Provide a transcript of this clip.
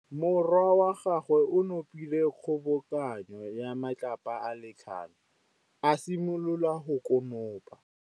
Morwa wa gagwe o nopile kgobokanô ya matlapa a le tlhano, a simolola go konopa.